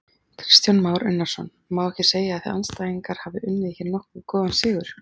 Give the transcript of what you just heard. Kristján Már Unnarsson: Má ekki segja að þið andstæðingar hafi unnið hér nokkuð góðan sigur?